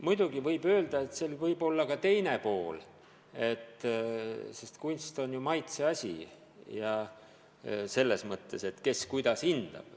Muidugi võib öelda, et sel on ka teine pool: kunst on ju maitseasi, kes kuidas hindab.